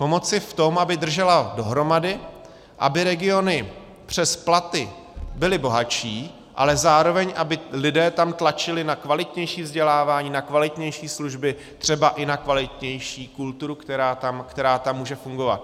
Pomoci v tom, aby držela dohromady, aby regiony přes platy byly bohatší, ale zároveň aby tam lidé tlačili na kvalitnější vzdělávání, na kvalitnější služby, třeba i na kvalitnější kulturu, která tam může fungovat.